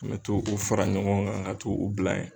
An mɛ to o fara ɲɔgɔn kan ka to o bila ye.